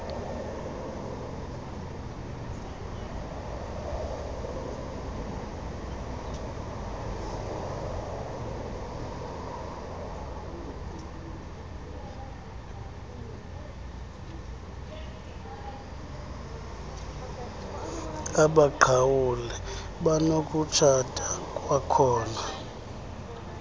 abaqhawule banokutshata kwakhona